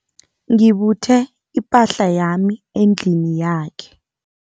Ngibuthe ipahla yami endlini yakhe.